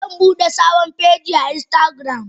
Zanbude sabon feji a instagram.